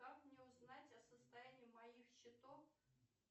как мне узнать о состоянии моих счетов